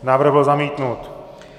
Návrh byl zamítnut.